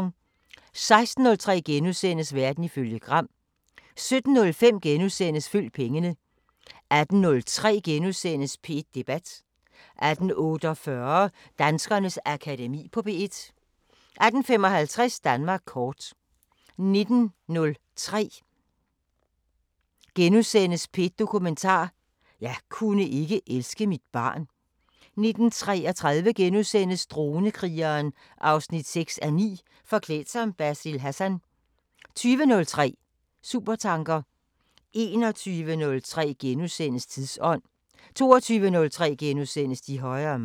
16:03: Verden ifølge Gram * 17:05: Følg pengene * 18:03: P1 Debat * 18:48: Danskernes Akademi på P1 18:55: Danmark kort 19:03: P1 Dokumentar: 'Jeg kunne ikke elske mit barn' * 19:33: Dronekrigeren 6:9 – Forklædt som Basil Hassan * 20:03: Supertanker 21:03: Tidsånd * 22:03: De højere magter *